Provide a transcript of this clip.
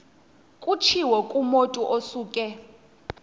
kutshiwo kumotu osuke